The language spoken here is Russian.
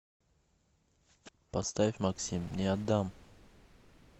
поставь максим не отдам